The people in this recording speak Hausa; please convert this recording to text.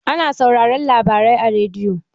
Ana sauraron labarai a rediyo